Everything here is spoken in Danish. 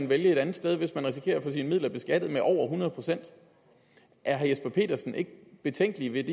vælge et andet sted hvis man risikerer at få sine midler beskattet med over hundrede procent er herre jesper petersen ikke betænkelig ved